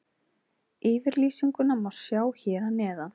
Yfirlýsinguna má sjá hér að neðan.